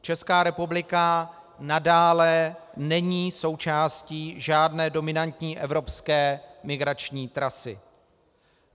Česká republika nadále není součástí žádné dominantní evropské migrační trasy.